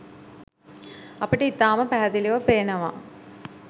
අපට ඉතාම පැහැදිලිව පේනවා